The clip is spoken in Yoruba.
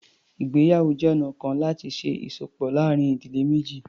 Ìgbéyàwó jẹ́ ọ̀na kan láti ṣe ìsopọ̀ láàárín ìdílé méjì.